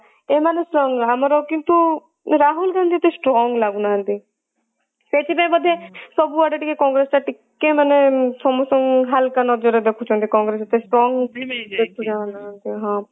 ଏମାନେ ଆମର କିନ୍ତୁ ରାହୁଲ ଗାନ୍ଧୀ ଏତେ strong ଲାଗୁ ନାହାନ୍ତି ସେଇଥିପାଇଁ ବୋଧେ ସବୁ ଆଡେ ଟିକେ ମାନେ କଂଗ୍ରେସ ଟା ଟିକେ ମାନେ ସମସ୍ତଙ୍କୁ ହାଲକା ନଜରରେ ଦେଖୁଛନ୍ତି କଂଗ୍ରେସ ହଁ